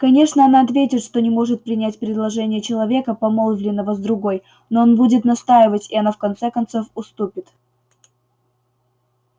конечно она ответит что не может принять предложение человека помолвленного с другой но он будет настаивать и она в конце концов уступит